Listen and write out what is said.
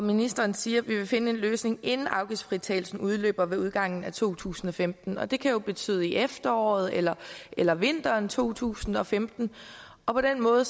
ministeren siger at vi vil finde en løsning inden afgiftsfritagelsen udløber ved udgangen af to tusind og femten og det kan jo betyde i efteråret eller eller vinteren to tusind og femten og på den måde